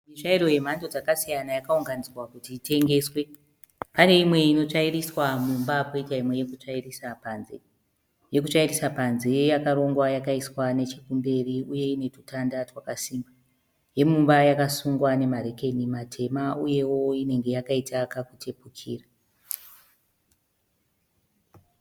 Mitsvairo yemhando dzakasiyana yakaunganidzwa kuti itengeswe. Pane imwe inotsvairiswa mumba kwoita imwe yekutsvairisa panze. Yekutsvairisa panze yakarongwa yakaiswa nechekumberi uye ine tutanda twakasimba. Yemumba yakasungwa nemarekeni matema uyewo inenge yakaita kakutepukira.